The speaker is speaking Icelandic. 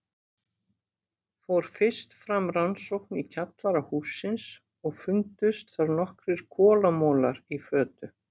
Fór fyrst fram rannsókn í kjallara hússins og fundust þar nokkrir kolamolar í fötu.